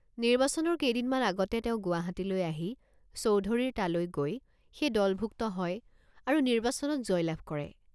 নিৰ্বাচনৰ কেইদিনমান আগতে তেওঁ গুৱাহাটীলৈ আহি চৌধুৰীৰ তালৈ গৈ সেই দলভুক্ত হয় আৰু নিৰ্বাচনত জয়লাভ কৰে।